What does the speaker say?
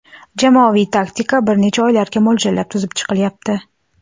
Jamoaviy taktika bir necha oylarga mo‘ljallab tuzib chiqilyapti.